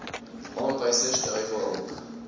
aanwysers dui daarop